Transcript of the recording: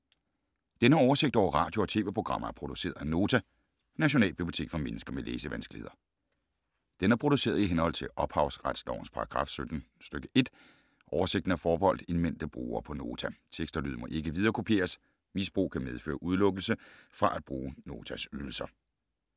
Denne oversigt over radio og TV-programmer er produceret af Nota, Nationalbibliotek for mennesker med læsevanskeligheder. Den er produceret i henhold til ophavsretslovens paragraf 17 stk. 1. Oversigten er forbeholdt indmeldte brugere på Nota. Tekst og lyd må ikke viderekopieres. Misbrug kan medføre udelukkelse fra at bruge Notas ydelser.